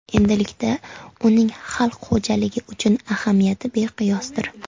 Endilikda uning xalq xo‘jaligi uchun ahamiyati beqiyosdir.